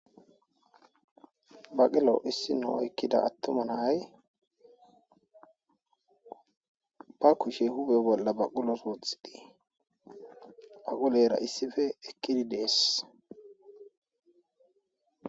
baqilo issino oykkida attuma na'ay ba kushe huphee bolla baqulos wooththidii baqulera issife eqqidi dees